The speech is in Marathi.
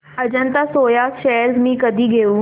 अजंता सोया शेअर्स मी कधी घेऊ